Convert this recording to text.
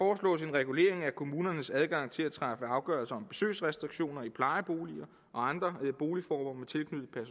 regulering af kommunernes adgang til at træffe afgørelser om besøgsrestriktioner i plejeboliger og andre boligformer